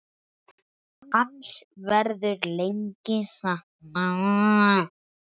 Hans verður lengi saknað.